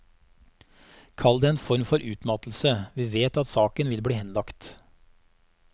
Kall det en form for utmattelse, vi vet at saken vil bli henlagt.